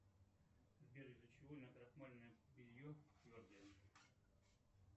сбер из за чего накрахмаленное белье твердое